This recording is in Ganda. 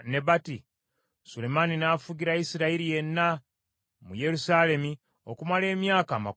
Sulemaani n’afugira Isirayiri yenna mu Yerusaalemi okumala emyaka amakumi ana.